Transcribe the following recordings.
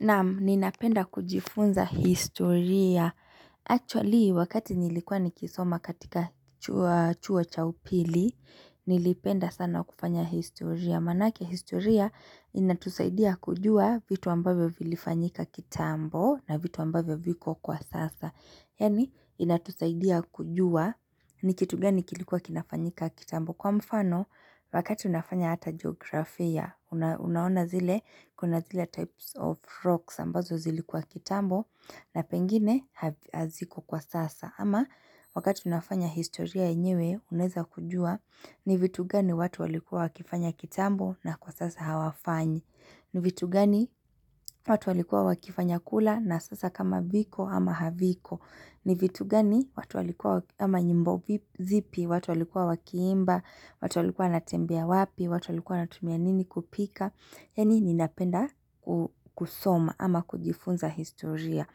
Naam, ninapenda kujifunza historia. Actually, wakati nilikuwa nikisoma katika chuo chaupili, nilipenda sana kufanya historia. Manake historia, inatusaidia kujua vitu ambavyo vilifanyika kitambo na vitu ambavyo viko kwa sasa. Yani, inatusaidia kujua nikitugani kilikuwa kinafanyika kitambo. Kwa mfano, wakati unafanya hata geografia, unaona zile kuna zile types of rocks ambazo zilikuwa kitambo na pengine haziko kwa sasa. Ama wakati unafanya historia enyewe, unaeza kujua ni vitu gani watu walikua wakifanya kitambo na kwa sasa hawafanyi. Ni vitu gani watu walikua wakifanya kula na sasa kama viko ama haviko. Ni vitu gani watu walikua ama nyimbo zipi, watu walikua wakiimba, watu walikua natembea wapi, watu walikua natumia nini kupika Yani ninapenda kusoma ama kujifunza historia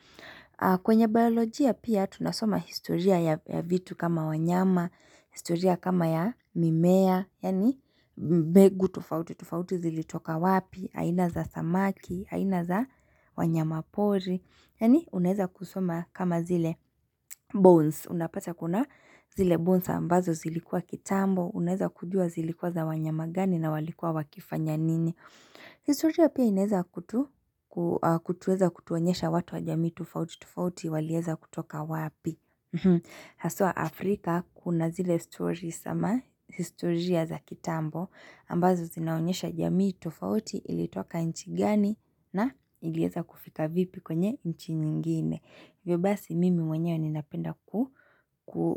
kwenye biolojia pia tunasoma historia ya vitu kama wanyama, historia kama ya mimea Yani mbegu tofauti, tofauti zili toka wapi, haina za samaki, haina za wanyama pori Yani unaeza kusoma kama zile bones, unapata kuna zile bones ambazo zilikuwa kitambo, uneza kujua zilikuwa za wanyamagani na walikuwa wakifanya nini. Historia pia ineza kutueza kutuonyesha watu wa jamii tofauti, tofauti, walieza kutoka wapi. Hasua Afrika kuna zile story sama historia za kitambo ambazo zinaonyesha jamii tofauti ilitoka nchi gani na ilieza kufika vipi kwenye nchi nyingine hivyobasi mimi mwenyewe ninapenda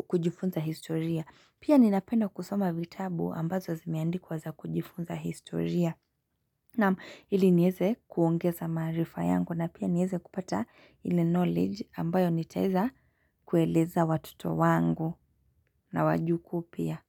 kujifunza historia Pia ninapenda kusoma vitabu ambazo zimeandikwa za kujifunza historia na ili nieze kuongeza marifa yangu na pia nieze kupata ile knowledge ambayo nitaeza kueleza watoto wangu na wajukuu pia.